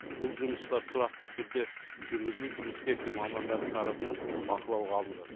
бұл жұмыстар тұрақты түрде жүргізіліп инспекция мамандарының тарапынан бақылауға алынған